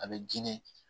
A bɛ diinɛ